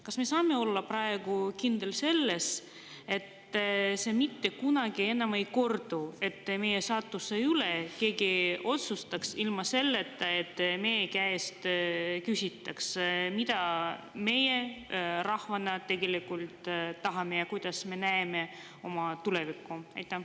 Kas me saame olla praegu kindlad, et see mitte kunagi enam ei kordu, et enam ei otsusta keegi meie saatuse üle ilma, et meie käest küsitaks, mida meie rahvana tegelikult tahame ja kuidas me näeme oma tulevikku?